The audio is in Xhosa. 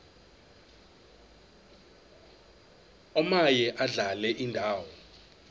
omaye adlale indawo